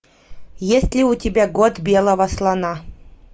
есть ли у тебя год белого слона